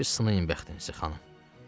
Bir sınayın bəxtinizi, xanım.